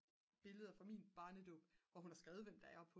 billeder fra min barnedåb hvor hun har skrevet hvem der er